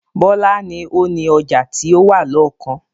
Bọlá ni ó ni ọjà ti ó wà lọ́kàn